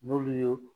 N'olu y'o